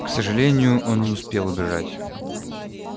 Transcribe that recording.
к сожалению он не успел убежать